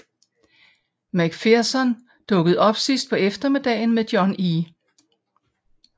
McPherson dukkede op sidst på eftermiddagen med John E